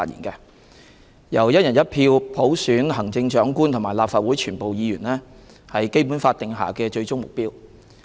由"一人一票"普選行政長官和立法會全部議員，是《基本法》定下的最終目標。